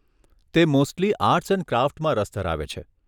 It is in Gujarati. તે મોસ્ટલી આર્ટસ અને ક્રાફ્ટમાં રસ ધરાવે છે.